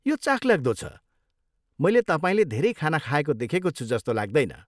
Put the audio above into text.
यो चाखलाग्दो छ, मैले तपाईँले धेरै खाना खाएको देखेको छु जस्तो लाग्दैन।